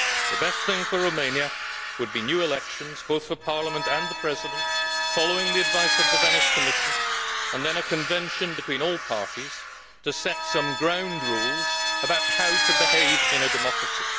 The best thing for Romania would be new elections both for Parliament and the President, following the advice of the Venice Commission, and then a convention between all parties to set some ground rules about how to behave in a democracy.